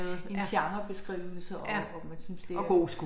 En genrebeskrivelse og og man synes det er